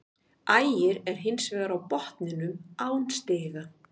Ægir er hins vegar á botninum án stiga.